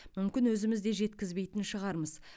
мүмкін өзіміз де жеткізбейтін шығармыз